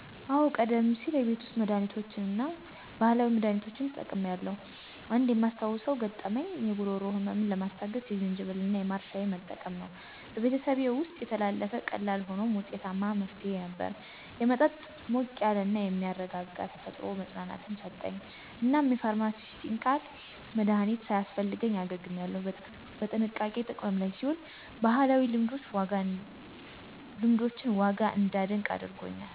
አዎ, ቀደም ሲል የቤት ውስጥ መድሃኒቶችን እና ባህላዊ መድሃኒቶችን ተጠቅሜያለሁ. አንድ የማስታውሰው ገጠመኝ የጉሮሮ ህመምን ለማስታገስ የዝንጅብል እና የማር ሻይ መጠቀም ነው። በቤተሰቤ ውስጥ የተላለፈ ቀላል ሆኖም ውጤታማ መፍትሄ ነበር። የመጠጥ ሞቅ ያለ እና የሚያረጋጋ ተፈጥሮ መፅናናትን ሰጠኝ፣ እናም የፋርማሲዩቲካል መድሀኒት ሳያስፈልገኝ አገግሜያለሁ። በጥንቃቄ ጥቅም ላይ ሲውል የባህላዊ ልምዶችን ዋጋ እንዳደንቅ አድርጎኛል.